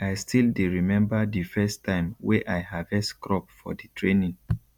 i still dey remember di first time wey i harvest crop for di training